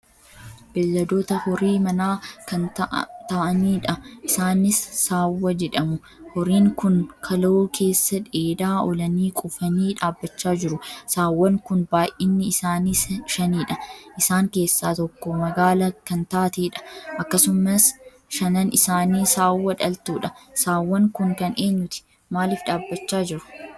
Beelladoota horii manaa kan taa'aaniidha isaanis saawwa jedhamu. horiin Kun kaloo keessa dheedaa oolanii quufanii dhaabbachaa jiru. saawwan kun baay'inni isaanii shaniidha. isaan keessa tokko magaala kan taateedha. akkasumas shanan isaanii saawwa dhaltuudha. Saawwan kun kan eenyuti? Maaliif dhaabbachaa jiru?